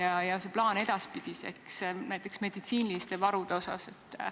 Ja milline on plaan edaspidiseks, näiteks meditsiiniliste varude osas?